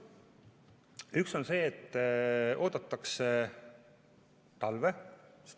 Üks on see, et oodatakse talve.